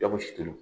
Jɔnko sitan